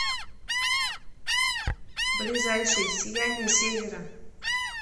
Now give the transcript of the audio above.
ближайший сияние севера